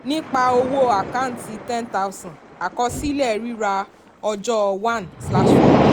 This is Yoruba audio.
nípa owó account ten thousand àkọsílẹ̀ rírà ọjọ́ one slash four.